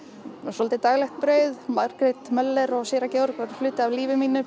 svolítið daglegt brauð Margrét Möller og séra Georg voru hluti af lífi mínu